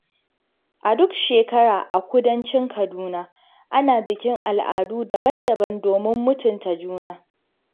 A duk shekara a Kudancin Kaduna, ana bikin al'adu daban-daban domin mutunta juna.